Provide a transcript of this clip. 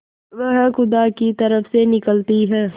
वह खुदा की तरफ से निकलती है